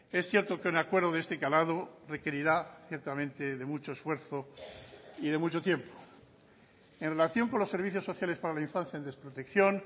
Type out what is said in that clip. es cierto que un acuerdo de este calado requerirá ciertamente de mucho esfuerzo y de mucho tiempo en relación con los servicios sociales para la infancia en desprotección